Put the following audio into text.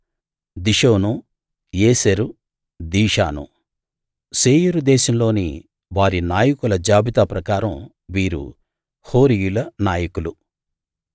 దిషోను Ezer Dishan Seir దేశంలోని వారి నాయకుల జాబితా ప్రకారం వీరు హోరీయుల నాయకులు